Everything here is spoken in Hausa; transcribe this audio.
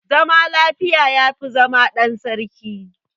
Zama lafiya ya fi zama ɗan sarki.